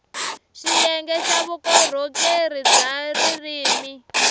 xiyenge xa vukorhokeri bya ririrmi